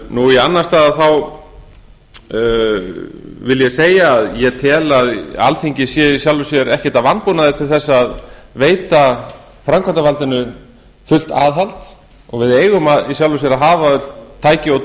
nú í annan stað vil ég segja að ég tel að alþingi sé að sjálfu sér ekkert að vanbúnaði veita framkvæmdarvaldinu fullt aðhald og við eigum í sjálfu sér að hafa öll tæki og